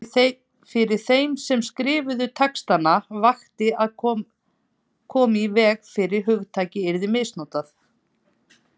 Fyrir þeim sem skrifuðu textana vakti að koma í veg fyrir að hugtakið yrði misnotað.